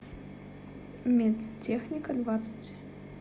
медтехника двадцать